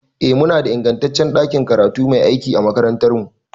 Eh, muna da ingantaccen ɗakin karatu mai aiki a makarantarmu.